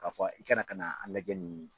K'a fɔ i kana ka na a lajɛ nin